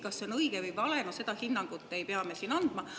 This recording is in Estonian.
Kas see on õige või vale, seda hinnangut ei pea me siin andma.